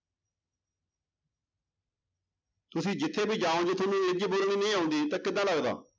ਤੁਸੀਂ ਜਿੱਥੇ ਵੀ ਜਾਓਗੇ ਤੁਹਾਨੂੰ ਅੰਗਰੇਜ਼ੀ ਬੋਲਣੀ ਨਹੀਂ ਆਉਂਦੀ ਤਾਂ ਕਿੱਦਾਂ ਲੱਗਦਾ।